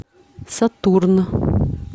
сатурн